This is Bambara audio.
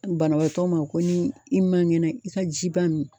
Banabaatɔ ma ko ni i man kɛnɛ i ka ji ba min